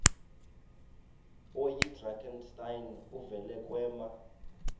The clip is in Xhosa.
oyidrakenstein uvele kwema